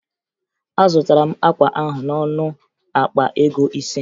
Azụtara m akwa ahụ n'ọnụ akpa ego ise